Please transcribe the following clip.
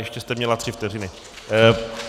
Ještě jste měla tři vteřiny.